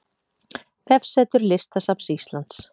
Vefsetur Listasafns Íslands